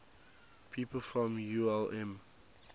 people from ulm